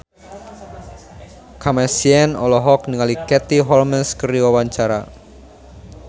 Kamasean olohok ningali Katie Holmes keur diwawancara